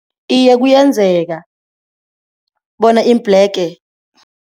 Iye, kuyenzeka bona iimbhlege.